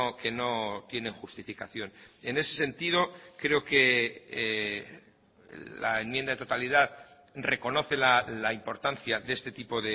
que no tienen justificación en ese sentido creo que la enmienda de totalidad reconoce la importancia de este tipo